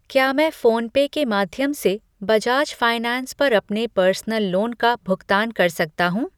क्या मैं PhonePe के माध्यम से बजाज फाइनैंस पर अपने पर्सनल लोन का भुगतान कर सकता हूँ?